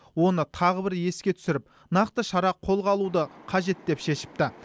оны тағы бір еске түсіріп нақты шара қолға алуды қажет деп шешіпті